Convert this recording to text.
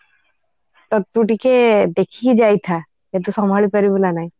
ତ ତୁ ଟିକେ ଦେଖିକି ଯାଇଥା ତ ତୁ ସମ୍ଭାଳି ପାରିବୁ ନା ନାଇଁ